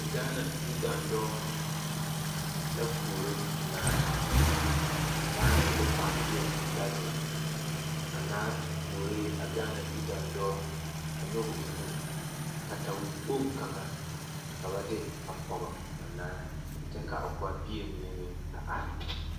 Gaana yidaandɔɔ la puoro naa a naa ne o kpaŋbeɛ la zeŋ a naa puoree a gaana yidaandɔɔ a nyɔge o nu katawikpoŋ kaŋa ka ba de a pɔge a naa kyɛ ka o kpaŋbeɛ mine meŋ a are.